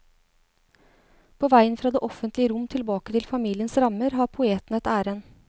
På veien fra det offentlige rom tilbake til familiens rammer har poeten et ærend.